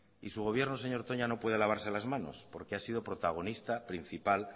y su gobierno señor toña no puede lavarse las manos porque ha sido protagonista principal